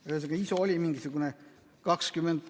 Ühesõnaga, ISO oli mingisugune 20 ...